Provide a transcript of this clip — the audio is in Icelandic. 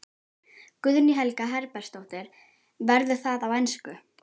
Guðný Helga Herbertsdóttir: Verður það á ensku?